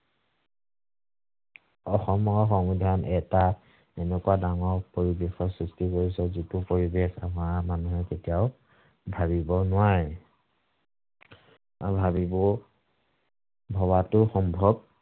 অসমৰ সংবিধান এটা এনেকুৱা ডাঙৰ পৰিবেশৰ সৃষ্টি কৰিছে যিটো পৰিবেশ আমাৰ মানুহে কেতিয়াও ভাৱিব নোৱাৰে। নাভাৱিবও, ভৱাটো সম্ভৱ